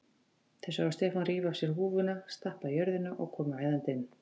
Þau sáu Stefán rífa af sér húfuna, stappa í jörðina og koma æðandi inn.